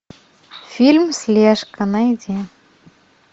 фильм слежка найди